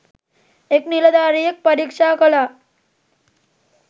එක් නිලධාරියෙක් පරීක්ෂා කළා.